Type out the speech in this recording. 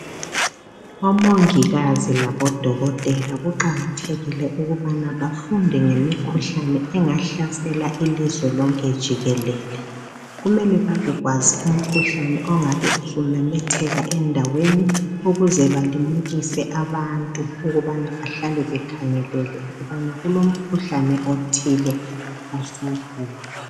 Omongikazi labodokotela kuqakathekile ukubana bafunde ngemikhuhlane engahlasela ilizwe lonke jikelele Kumele babekwazi umkhuhlane ongabe usumemetheka endaweni ukuze balimukise abantu ukubana bahlale bekhangelele ukubana kulomkhuhlane othile osukhona